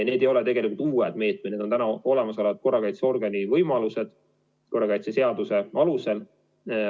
Need ei ole uued meetmed, need on täna olemasolevad korrakaitseorgani võimalused korrakaitseseaduse alusel.